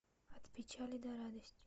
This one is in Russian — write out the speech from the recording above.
от печали до радости